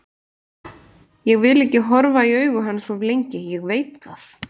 Ég vil ekki horfa í augu hans of lengi, ég veit það.